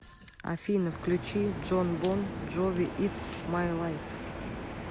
афина включи джон бон джови итс май лайф